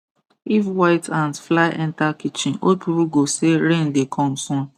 if white ant fly enter kitchen old people go say rain dey come soon